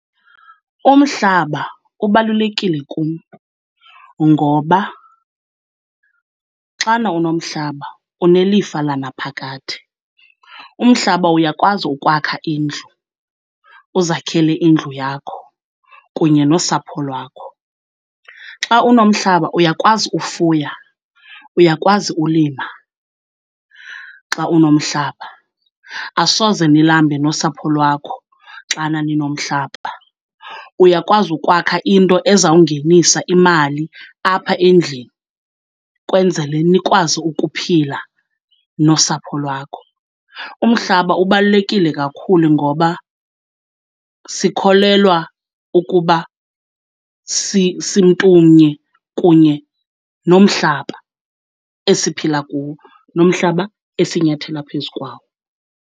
Umhlaba ubalulekile kum, ngoba xana unomhlaba unelifa lanaphakade. Umhlaba uyakwazi ukwakha indlu, uzakhele indlu yakho kunye nosapho lwakho. Xa unomhlaba uyakwazi ufuya, uyakwazi ulima xa unomhlaba. Asoze nilambe nosapho lwakho xana ninomhlaba, uyakwazi ukwakha into ezawungenisa imali apha endlini kwenzele nikwazi ukuphila nosapho lwakho. Umhlaba ubalulekile kakhulu ngoba sikholelwa ukuba simntumnye kunye nomhlaba esiphila kuwo, nomhlaba esinyathela phezu kwawo.